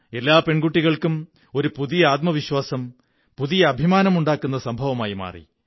എല്ലാ പെണ്കുിട്ടികള്ക്കും ഒരു പുതിയ ആത്മവിശ്വാസം പുതിയ അഭിമാനമുണ്ടാക്കുന്ന സംഭവമായി മാറി